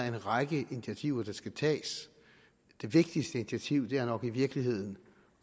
en række initiativer der skal tages det vigtigste initiativ er nok i virkeligheden